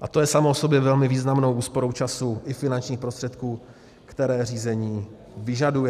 a to je samo o sobě velmi významnou úsporou času i finančních prostředků, které řízení vyžaduje.